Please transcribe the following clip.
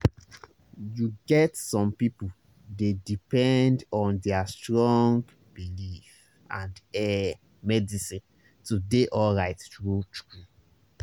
you get some people dey depend on their strong belief and ehh medicine to dey alright true-true